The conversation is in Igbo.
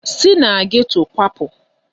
Si na geto kwapụ!